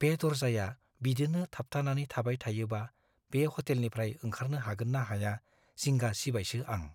बे दर्जाया बिदिनो थाबथानानै थाबाय थायोबा बे ह'टेलनिफ्राय ओंखारनो हागोन्ना हाया जिंगा सिबायसो आं।